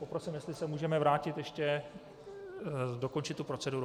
Poprosím, jestli se můžeme vrátit ještě dokončit tu proceduru.